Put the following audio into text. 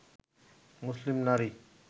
মুসলিম নারী